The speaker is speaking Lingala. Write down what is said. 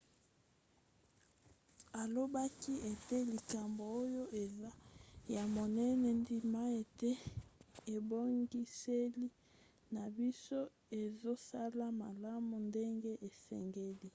alobaki ete likambo oyo eza ya monene. ndima ete ebongiseli na biso ezosala malamu ndenge esengeli.